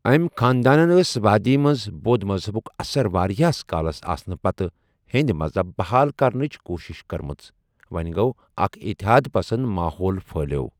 أمۍ خاندانن ٲس وادی منٛز بود مذہبُک اثر واریاہس کالس آسنہٕ پتہٕ ہیٚنٛدۍ مذہب بحال کرنٕچ کوٗشِش کٔرمٕژ، وۄنگو، اکھ اِتحاد پسند ماحول پٔھلیوو۔